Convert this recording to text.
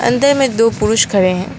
अंदर में दो पुरुष खड़े हैं।